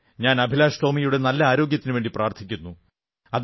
ഞാൻ അഭിലാഷ് ടോമിയുടെ നല്ല ആരോഗ്യത്തിനുവേണ്ടി പ്രാർഥിക്കുന്നു